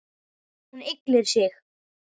Hún ygglir sig.